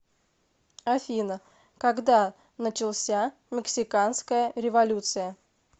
афина когда начался мексиканская революция